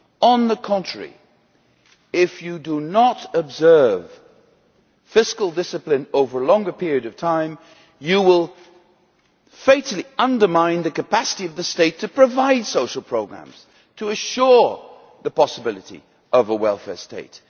On the contrary, if you do not observe fiscal discipline over a longer period of time, you will fatally undermine the capacity of the state to provide social programmes to ensure the possibility of a welfare state.